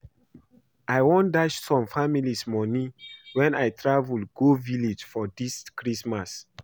I wan dash some families money wen I travel go village for dis christmas